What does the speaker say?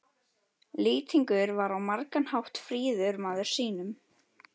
Lýtingur var á margan hátt fríður maður sýnum.